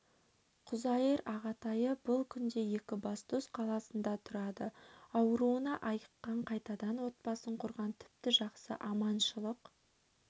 құзайыр ағатайы бұл күнде екібастұз қаласында тұрады ауруынан айыққан қайтадан отбасын құрған тіпті жақсы аманшылық